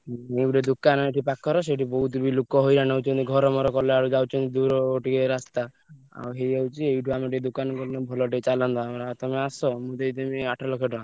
ଉଁ ଏଇ ଗୋଟେ ଦୋକାନ ଏଠୁ ପାଖରେ ସେଠୁ ବହୁତ ବି ଲୋକ ହଇରାଣ ହଉଛନ୍ତି ଘର ମର କଲାବେଳକୁ ଯାଉଛନ୍ତି ଦୂର ଟିକେ ରାସ୍ତା ଆଉ ହେଇଯାଉଚି ଏଇଠୁ ଆମେ ଟିକେ ଦୋକାନ ଭଲ ଟିକେ ଚାଲନ୍ତା ତମେ ଆସ ମୁଁ ଦେଇଦେବି ଆଠ ଲକ୍ଷ ଟଙ୍କା।